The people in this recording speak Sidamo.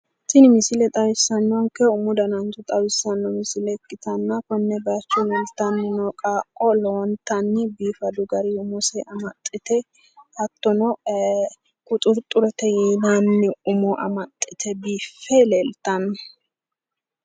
Tini misile xawissannonkehu umu danancho xawissanno misile ikkitanna konne baayicho leeltanni no qaaqqo lowontanni biifadu garinni umose amaxxite hattono quxurxurete yinanni umo amaxxite biiffe leeltanno.